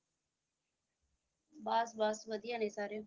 ਬੱਸ ਬੱਸ ਵਧੀਆ ਨੇ ਸਾਰੇ।